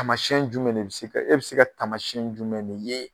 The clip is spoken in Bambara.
Taamayɛn jumɛn de bi se ka e bi se ka taamasiyɛn jumɛn de ye